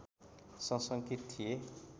सशङ्कित थिए